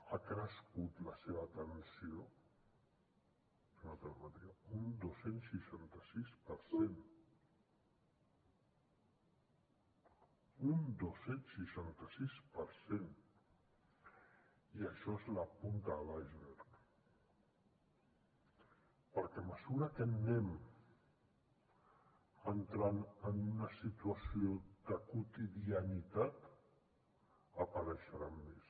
ha crescut la seva atenció un dos cents i seixanta sis per cent un dos cents i seixanta sis per cent i això és la punta de l’iceberg perquè a mesura que anem entrant en una situació de quotidianitat n’apareixeran més